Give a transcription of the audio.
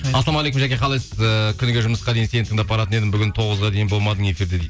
ассалаумағалейкум жаке қалайсыз ыыы күніге жұмысқа дейін сені тыңдап баратын едім бүгін тоғызға дейін болмадың эфирде